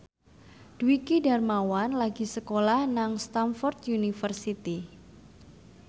Dwiki Darmawan lagi sekolah nang Stamford University